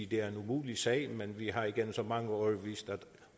det er en umulig sag men vi har igennem så mange år vist at